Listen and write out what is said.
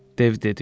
Dev dedi.